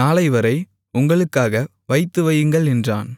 நாளைவரை உங்களுக்காக வைத்துவையுங்கள் என்றான்